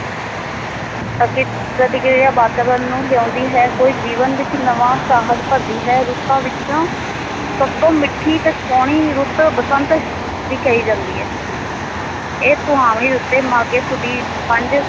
ਪ੍ਰਤੀਕਿਰਿਆ ਵਾਤਾਵਰਨ ਨੂੰ ਲਿਆਉਦੀ ਹੈ, ਕੋਈ ਜੀਵਨ ਵਿੱਚ ਨਵਾਂ ਸਾਹਸ ਭਰਦੀ ਹੈ, ਰੁੱਤਾਂ ਵਿੱਚ ਸਭ ਤੋਂ ਮਿੱਠੀ ਤੇ ਸੋਹਣੀ ਰੁੱਤ ਬਸੰਤ ਦੀ ਕਹੀ ਜਾਂਦੀ ਹੈ ਇਹ ਸੁਹਾਵਣੀ ਰੁੱਤੇ ਮਾਘ ਸੁਦੀ ਪੰਜ